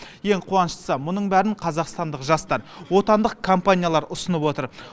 ең қуаныштысы мұның бәрін қазақстандық жастар отандық компаниялар ұсынып отыр